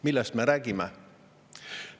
Millest me räägime?